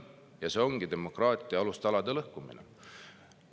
Ja see ongi demokraatia alustalade lõhkumine.